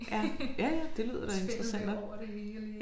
Ja ja ja det lyder da interessant nok